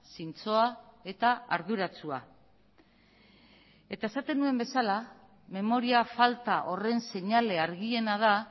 zintzoa eta arduratsua eta esaten nuen bezala memoria falta horren seinale argiena da